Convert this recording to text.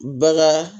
Bagan